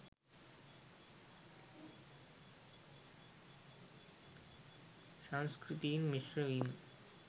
සංස්කෘතීන් මිශ්‍රවීම